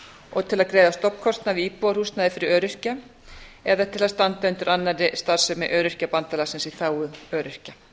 og til að greiða stofnkostnað við íbúðarhúsnæði fyrir öryrkja eða til að standa undir annarri starfsemi öryrkjabandalagsins í þágu öryrkja